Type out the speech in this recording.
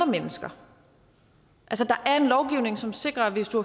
mennesker der er en lovgivning som sikrer at hvis du